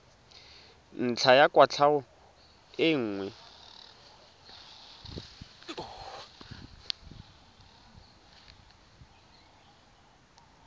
ntlha ya kwatlhao e nngwe